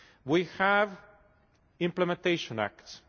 We have implementation acts.